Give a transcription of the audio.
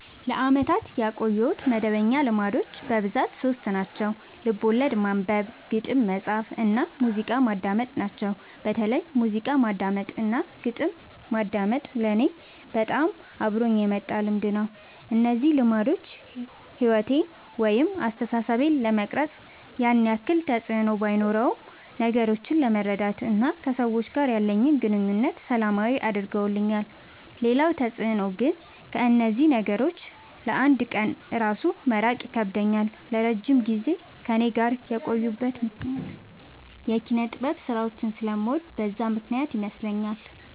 ለአመታት ያቆየሁት መደበኛ ልማዶች በብዛት ሶስት ናቸው። ልቦለድ ማንበብ፣ ግጥም መፃፍ እና ሙዚቃ ማዳመጥ ናቸው። በተለይ ሙዚቃ ማዳመጥ እና ግጥም ማንበብ ለኔ በጣም አብሮኝ የመጣ ልምድ ነው። እነዚህ ልማዶች ሕይወቴን ወይም አስተሳሰቤን ለመቅረጽ ያን ያክል ተፅዕኖ ባኖረውም ነገሮችን ለመረዳት እና ከሰዎች ጋር ያለኝን ግንኙነት ሰላማዊ አድርገውልኛል ሌላው ተፅዕኖ ግን ከእነዚህ ነገሮች ለ አንድ ቀን እራሱ መራቅ ይከብደኛል። ለረጅም ጊዜ ከእኔ ጋር የቆዩበት ምክንያት የኪነጥበብ ስራዎችን ስለምወድ በዛ ምክንያት ይመስለኛል።